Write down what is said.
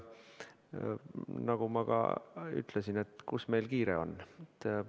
Nagu ma ka ütlesin, kuhu meil ikka kiiret on.